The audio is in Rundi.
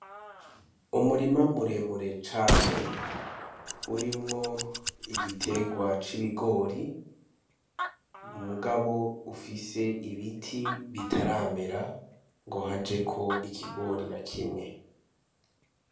Umurima muremure cane, urimwo igiterwa c'ibigori ,mugabo ufise ibiti bitaramera ngo hajeko ikigori na kimwe.